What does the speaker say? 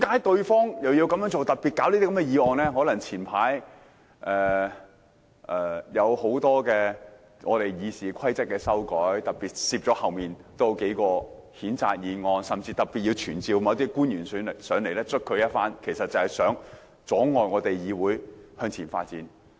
可能因為早陣子提出了很多有關《議事規則》的修訂，於是他們便特別在後面加插數項譴責議案，又要特別傳召某些官員前來玩弄一番，無非是想阻礙議會向前發展。